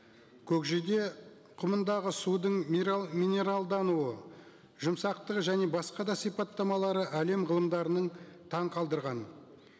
көкжиде құмындағы судың минералдануы жұмсақтығы және басқа да сипаттамалары әлем ғылымдарын таңғалдырған